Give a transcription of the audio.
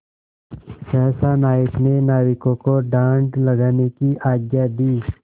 सहसा नायक ने नाविकों को डाँड लगाने की आज्ञा दी